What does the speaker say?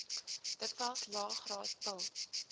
dikwels laegraad pil